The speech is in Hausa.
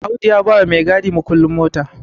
Audu ya ba maigadi mukullin mota